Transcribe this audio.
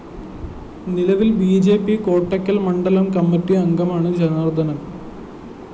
നിലവില്‍ B J P Kottakkal‍ മണ്ഡലം committee അംഗമാണ്‌ ജനാര്‍ദ്ദനന്‍